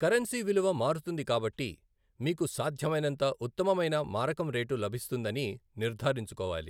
Currency విలువ మారుతుంది కాబట్టి, మీకు సాధ్యమైనంత ఉత్తమమైన మారకం రేటు లభిస్తుందని నిర్ధారించుకోవాలి.